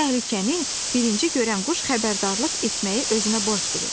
Təhlükəni birinci görən quş xəbərdarlıq etməyi özünə borc bilir.